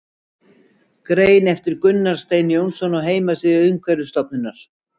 Grein eftir Gunnar Stein Jónsson á heimasíðu Umhverfisstofnunar.